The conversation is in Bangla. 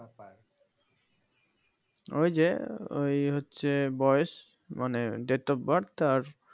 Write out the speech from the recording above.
ওই যে ওই হচ্ছে বয়স মানে date of birth আর